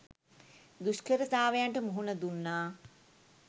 දුෂ්කරතාවයන්ට මුහුණ දුන්නා